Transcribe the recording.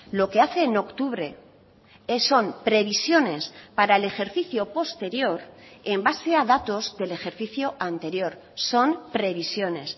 lo que hace en octubre son previsiones para el ejercicio posterior en base a datos del ejercicio anterior son previsiones